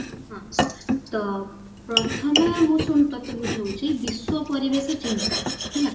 ତ ପ୍ରଥମେ ମୁଁ ଶୁଣ ତତେ ବୁଝଉଚି ବିଶ୍ଵ ପରିବେଶ ଚିନ୍ତା ହେଲା